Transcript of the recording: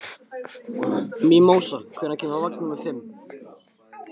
Mímósa, hvenær kemur vagn númer fimm?